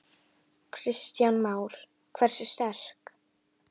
Kristján Már: Hversu sterkt?